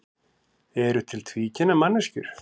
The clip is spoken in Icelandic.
Eru til tvíkynja manneskjur?